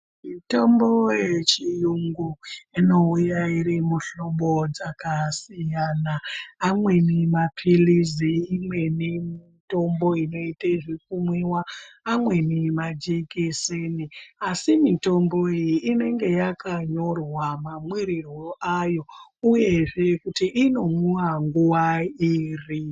Mitombo yechiyungu ino uya ine mihlobo dzakasiyana amweni mapilisi imweni mitombo inoita zvekumwiwa amweni majekiseni asi mitombo iyi inenge yakanyorwa mamwirirwo ayo uyezve kuti ino mwiwa rini.